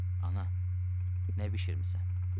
Ana, nə bişirmisən?